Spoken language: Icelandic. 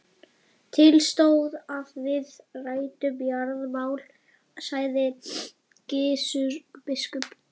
Til stóð að við ræddum jarðamál, sagði Gizur biskup.